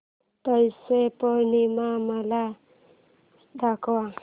पौष पौर्णिमा मला दाखव